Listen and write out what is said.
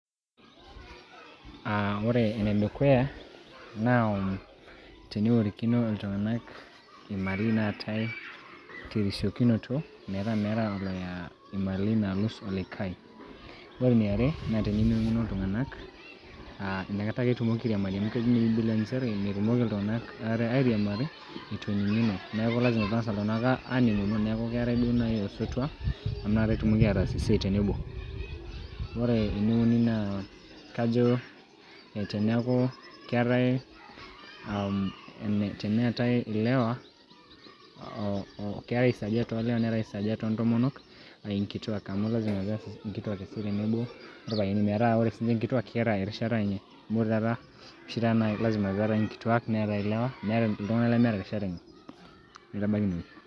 Ah ore enedukuya, na teneworikino iltung'anak imali naatae terisiokinoto, metaa meetae oloya imali nalus olikae. Ore eniare, na tenening'uno iltung'anak ah nakata ake etumoki airiamari, amu kejo ninye bibilia njere, metumoki iltung'anak aare airiamari, eitu ening'uno. Neeku lasima peng'asa iltung'anak aaning'uno, neeku keetae duo nai osotua, amu nakata etumoki ataas esiai tenebo. Ore eneuni naa, kajo teneeku keetae um teneetae ilewa, keetae isajat o lewa neeta isajat o ntomonok, ah inkituak. Amu lasima peas inkituak esiai tenebo orpayiani. Nemetaa ore sinche inkituak, ketaa erishata enye. Amu ore taata oshi taata na lasima peerae inkituak neetae ilewa, meeta iltung'anak lemeeta irishat enye. Naitabaki inewoi.